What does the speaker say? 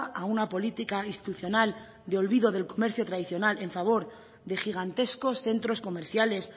a una política institucional de olvido del comercio tradicional en favor de gigantescos centros comerciales